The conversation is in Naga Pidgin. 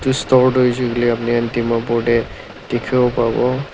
edu store toh hoishey koilae apni khan dimapur tae dikhiwo parewo.